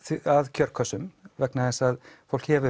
kjörkössum vegna þess að fólk hefur